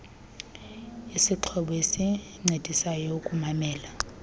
isixhobo esincedisa ukumamela